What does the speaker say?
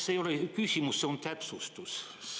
See ei olegi küsimus, see on täpsustus.